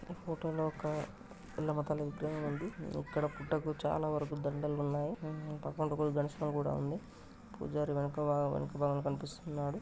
ఫొటోలో లో ఒక ఎల్లమ్మ తల్లి విగ్రహం ఉంది ఇక్కడ పుట్టకు చాలా వరుకు దండలు సన్నాయి పూజారి వెనక-వెనక భాగం కనిపిస్తున్నాడు.